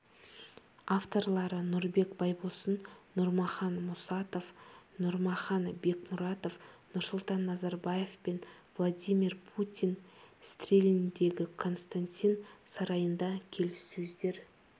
авторлары нұрбек байбосын нұрмахан мұсатов нұрмахан бекмұратов нұрсұлтан назарбаев пен владимир путин стрельндегі константин сарайында келіссөздер